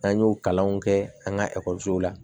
N'an y'o kalanw kɛ an ka ekɔliso la